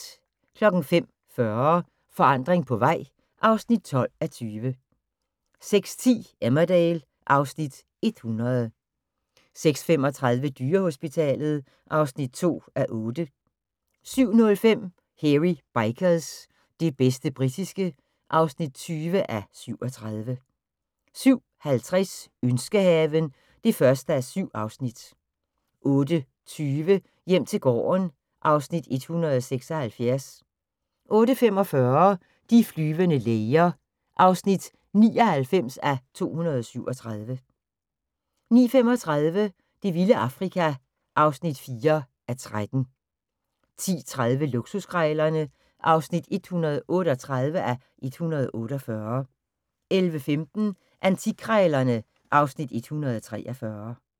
05:40: Forandring på vej (12:20) 06:10: Emmerdale (Afs. 100) 06:35: Dyrehospitalet (2:8) 07:05: Hairy Bikers – det bedste britiske (20:37) 07:50: Ønskehaven (1:7) 08:20: Hjem til gården (Afs. 176) 08:45: De flyvende læger (99:237) 09:35: Det vilde Afrika (4:13) 10:30: Luksuskrejlerne (138:148) 11:15: Antikkrejlerne (Afs. 143)